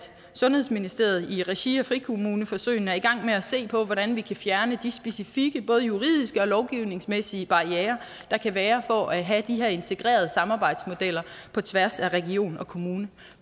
sundhedsministeriet i regi af frikommuneforsøgene er i gang med at se på hvordan vi kan fjerne de specifikke både juridiske og lovgivningsmæssige barrierer der kan være for at have de her integrerede samarbejdsmodeller på tværs af regioner og kommuner